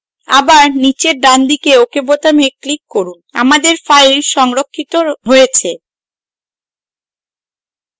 আবার নীচে ডানদিকে ok বোতামে click করুন আমাদের file সংরক্ষিত হয়েছে